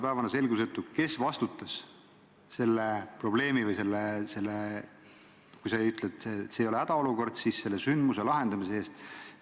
Tänase päevani on selgusetu, kes vastutas selle olukorra – sa ütled, et see ei olnud hädaolukord – lahendamise eest.